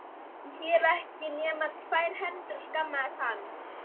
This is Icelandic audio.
Ég hef ekki nema tvær hendur, skammaðist hann.